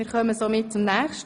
Traktandum 28 Geschäft